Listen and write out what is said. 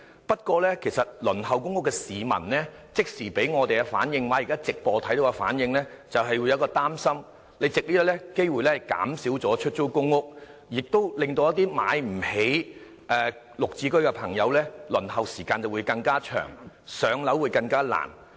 不過，輪候公屋的市民給我們的即時反應——收看直播後的反應——是有點擔心，你會否藉這個機會減少出租公屋數量，而這會令一些買不起"綠置居"的朋友，輪候時間更長，更難上樓。